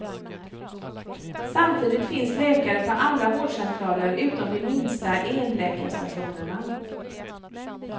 Samtidigt finns läkare på alla vårdcentraler utom de minsta enläkarstationerna.